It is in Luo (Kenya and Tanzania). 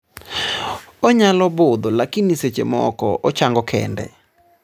onyalo budho lakini seche moko ochango kende